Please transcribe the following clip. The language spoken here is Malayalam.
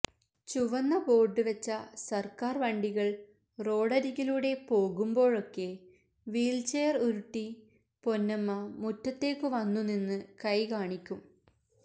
ചുവന്ന ബോർഡ് വച്ച സർക്കാർ വണ്ടികൾ റോഡരികിലൂടെ പോകുമ്പോഴൊക്കെ വീൽചെയർ ഉരുട്ടി പൊന്നമ്മ മുറ്റത്തേക്കു വന്നുനിന്നു കൈകാണിക്കും